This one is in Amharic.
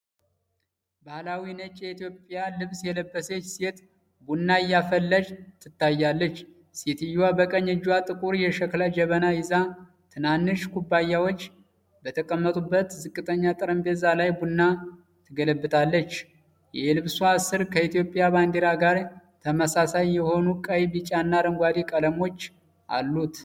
ባህላዊ ነጭ የኢትዮጵያ ልብስ የለበሰች ሴት ቡና እያፈላች ትታያለች። ሴትየዋ በቀኝ እጇ ጥቁር የሸክላ ጀበና ይዛ፣ ትናንሽ ኩባያዎች በተቀመጡበት ዝቅተኛ ጠረጴዛ ላይ ቡና ትገለብጣለች። የልብሷ ስር ከኢትዮጵያ ባንዲራ ጋር ተመሳሳይ የሆኑ ቀይ፣ ቢጫና አረንጓዴ ቀለሞች አሉት።